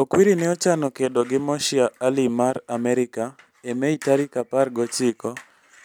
"Okwiri ne ochano kedo gi Moshea Aleem mar Amerka e Mei tarik apar gochiko,